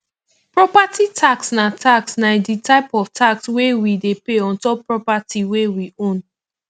property tax na tax na di type of tax wey we dey pay ontop property wey we own